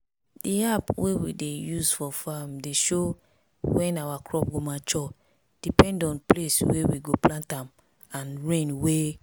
di app wey we dey use for farm dey show wen our crop go mature depend on place wey we plant am and rain way.